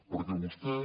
perquè vostè